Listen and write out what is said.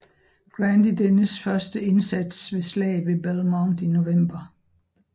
Grant i dennes første indsats ved Slaget ved Belmont i november